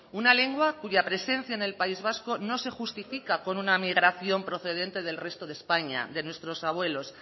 una lengua cuya presencia en el país vasco no se justifica con una migración procedente del resto de españa de nuestros abuelos